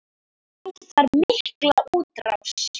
Ég fæ þar mikla útrás.